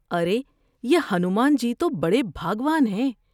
ارے یہ ہنومان جی تو بڑے بھا گو ان ہیں ۔